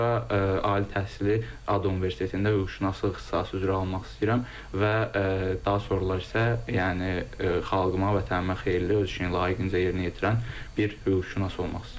Bundan sonra ali təhsili ADU Universitetində hüquqşünaslıq ixtisası üzrə almaq istəyirəm və daha sonralar isə, yəni xalqıma, vətənimə xeyirli, öz işini layiqincə yerinə yetirən bir hüquqşünas olmaq istəyirəm.